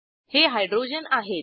हे हायड्रोजन आहेत